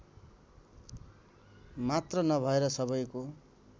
मात्र नभएर सबैको